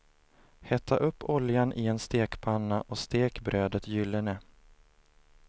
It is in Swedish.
Hetta upp oljan i en stekpanna och stek brödet gyllene.